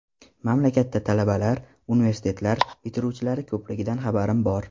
Mamlakatda talabalar, universitetlar bitiruvchilari ko‘pligidan xabarim bor.